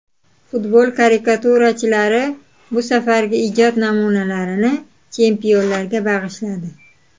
Futbol karikaturachilari bu safargi ijod namunalarini chempionlarga bag‘ishladi.